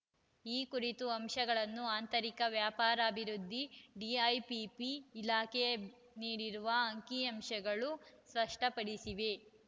ಈ ಕುರಿತ ಅಂಶವನ್ನು ಆಂತರಿಕ ವ್ಯಾಪಾರಾಭಿವೃದ್ಧಿ ಡಿಐಪಿಪಿ ಇಲಾಖೆ ನೀಡಿರುವ ಅಂಕಿಅಂಶಗಳು ಸ್ಪಷ್ಟಪಡಿಸಿವೆ